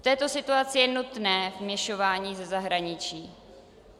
V této situaci je nutné vměšování ze zahraničí.